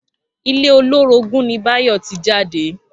Ilé olórogún ni Báyò tí jáde